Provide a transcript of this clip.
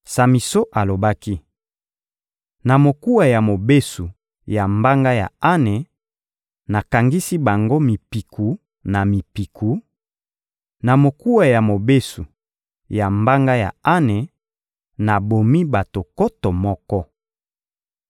Samison alobaki: «Na mokuwa ya mobesu ya mbanga ya ane, nakangisi bango mipiku na mipiku; na mokuwa ya mobesu ya mbanga ya ane, nabomi bato nkoto moko.»